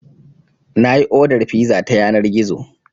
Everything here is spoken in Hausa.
Na yi odar fiza ta yanar gizo.